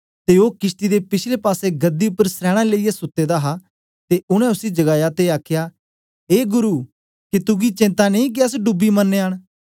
ते ओ किशती दे पिछले पासे गद्धी उपर सरैना लेईयै सुत्ते दा हा ते उनै उसी जगाया ते आखया ए गुरु के तुगी चिंता नेई के अस डूबी मरानयां न